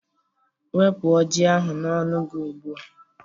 Wepu oji ahu n'ọnụ gị ugbu a